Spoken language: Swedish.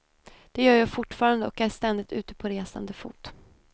Det gör jag fortfarande och är ständigt ute på resande fot.